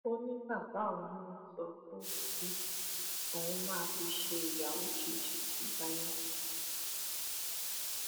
nílẹ yorùbá sì rèé á pàtàkì ọmọlúàbí ju owó lọ